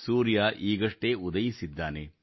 ಸೂರ್ಯ ಈಗಷ್ಟೇ ಉದಯಿಸಿದ್ದಾನೆ